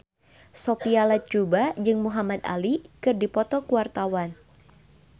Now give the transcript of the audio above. Sophia Latjuba jeung Muhamad Ali keur dipoto ku wartawan